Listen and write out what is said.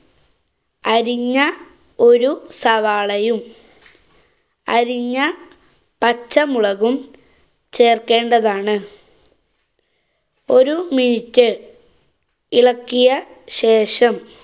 അരിഞ്ഞ ഒരു സവാളയും, അരിഞ്ഞ പച്ചമുളകും ചേര്‍ക്കേണ്ടതാണ്. ഒരു minute ഇളക്കിയ ശേഷം.